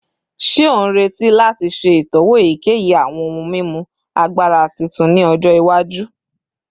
Ṣe o nreti lati ṣe itọwo eyikeyi awọn ohun mimu agbara titun ni ọjọ iwaju?